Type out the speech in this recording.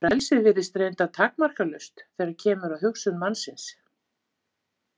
Frelsið virðist reyndar takmarkalaust þegar kemur að hugsun mannsins.